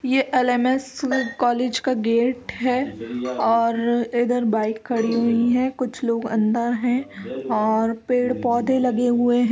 यह LMS. College का gate है और इधर बाइक खड़ी हुई है कुछ लोग अंदर है और पेड़ पौधे लगे हुए हैं।